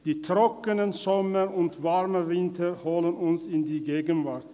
Die trockenen Sommer und die warmen Winter holen uns in die Gegenwart.